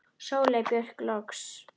Sóley Björk loks.